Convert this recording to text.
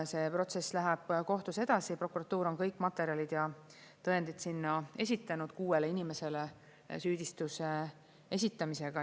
See protsess läheb kohtus edasi, prokuratuur on kõik materjalid ja tõendid sinna esitanud kuuele inimesele süüdistuse esitamisega.